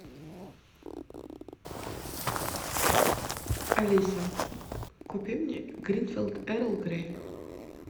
алиса купи мне гринфилд эрл грей